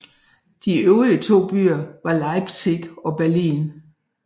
De øvrige to byer var Leipzig og Berlin